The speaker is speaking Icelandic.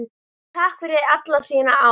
Takk fyrir alla þína ást.